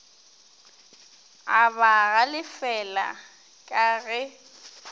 a ba galefela ka ge